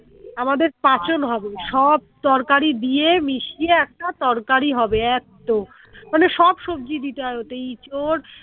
আমাদের পাচঁন হবে সব তরকারি দিয়ে মিশিয়ে একটা তরকারি হবে এতো মানে সব দিতে হয় ওতে এঁচোড়